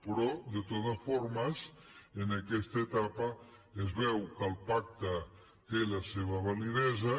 però de totes formes en aquesta etapa es veu que el pacte té la seva validesa